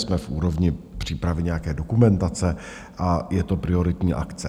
Jsme v úrovni přípravy nějaké dokumentace a je to prioritní akce.